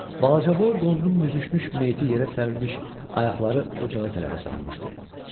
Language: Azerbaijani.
Balacaboy qonunun büzüşmüş meyti yerə sərilmiş, ayaqları ocağa tərəf uzanmışdı.